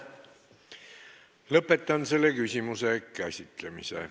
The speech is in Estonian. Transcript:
Lõpetan selle küsimuse käsitlemise.